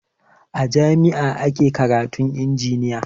A jami'a ake karatun injiniya